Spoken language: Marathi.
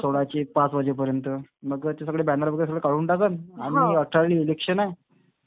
सोळाचे पाच वाजेपर्यंत. मग ते सगळं बॅनर वगैरे सगळं काढून टाकन. आणि मग अठराले इलेक्शन हाय.